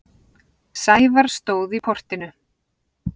Sævar stóð í portinu.